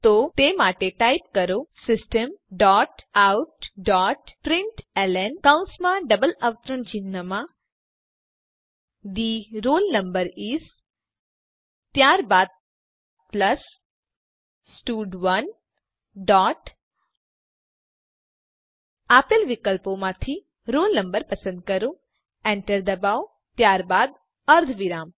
તો તે માટે ટાઈપ કરો system dot out dot println કૌંસમાં ડબલ અવતરણ ચિહ્નમાં થે રોલ નંબર ઇસ ત્યારબાદ પ્લસ સ્ટડ1 ડોટ આપેલ વિકલ્પોમાંથી roll no પસંદ કરો એન્ટર દબાવો ત્યારબાદ અર્ધવિરામ